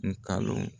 Nkalon